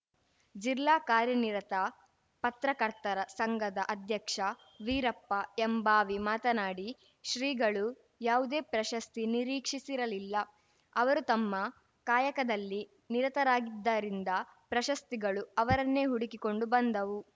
ಜಿಲ್ಲಾ ಕಾರ್ಯನಿರತ ಪತ್ರಕರ್ತರ ಸಂಘದ ಅಧ್ಯಕ್ಷ ವೀರಪ್ಪ ಎಂಭಾವಿ ಮಾತನಾಡಿ ಶ್ರೀಗಳು ಯಾವುದೇ ಪ್ರಶಸ್ತಿ ನಿರೀಕ್ಷಿಸಿರಲಿಲ್ಲ ಅವರು ತಮ್ಮ ಕಾಯಕದಲ್ಲಿ ನಿರತರಾಗಿದ್ದರಿಂದ ಪ್ರಶಸ್ತಿಗಳು ಅವರನ್ನೇ ಹುಡುಕಿಕೊಂಡು ಬಂದವು